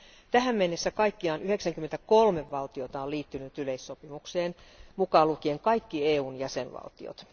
Tähän mennessä kaikkiaan 93 valtiota on liittynyt yleissopimukseen, mukaan lukien kaikki EUn jäsenvaltiot.